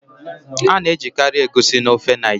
A na-ejikarị Egusi na ofe Naijiria.